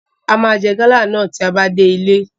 A máa jẹ gálà náà tí a bá dé ilé.